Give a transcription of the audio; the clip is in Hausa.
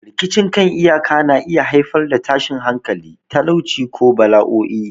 Rikicin kan iyaka na iya haifar da tashin hankali, talauci, ko bala'o'i.